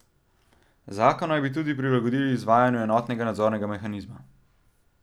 Zakon naj bi tudi prilagodili izvajanju enotnega nadzornega mehanizma.